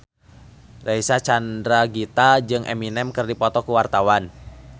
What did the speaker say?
Reysa Chandragitta jeung Eminem keur dipoto ku wartawan